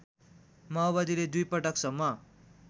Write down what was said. माओवादीले दुईपटकसम्म